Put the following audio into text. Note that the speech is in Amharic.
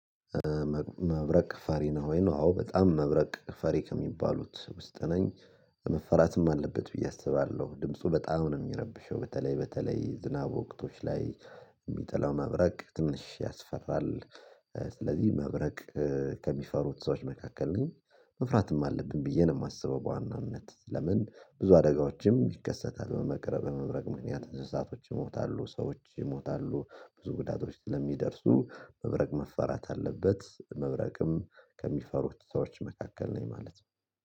መብረቅ ፈሪ ነው ወይ? ነው አዎ በጣም መብረቅ ፈሪ ከሚባሉት ውስጥ ነኝ። መፈራትም አለበት ብዬ አስባለሁ ድምፁ በጣም ነው የሚረብሸው። በተለይ በተለይ ዝናብ ወቅቶች ላይ። የሚጥለው መብረቅ ትንሽ ያስፈራል። ስለዚህ መብረቅ ከሚፈሩት ሰዎች መካከል ነኝ። መፍራትም አለብን ብዬ ነው የማስበው። በዋናነት ለምን ብዙ አደጋዎችም ይከሰታል በመቅረብ የመብረቅ ምክንያት እንደዛቶች ይሞታሉ ሰዎች ይሞታሉ። ብዙ ጉዳቶች ስለሚደርሱ መብረቅ መፈራት አለበት። መብረቅም ከሚፈሩት ሰዎች መካከል ነኝ ማለት ነው።